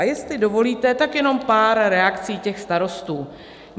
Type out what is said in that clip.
A jestli dovolíte, tak jenom pár reakcí těch starostů.